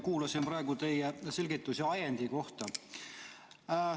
Kuulasin praegu teie selgitusi ajendi kohta.